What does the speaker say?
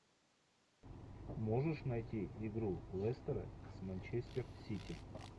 можешь найти игру лестера с манчестер сити